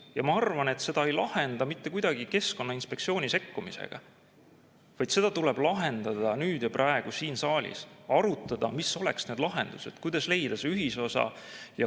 Ja ma arvan, et seda ei lahenda mitte kuidagi keskkonnainspektsiooni sekkumisega, vaid seda tuleb lahendada nüüd ja praegu siin saalis, arutada, mis oleksid need lahendused, kuidas leida see ühisosa.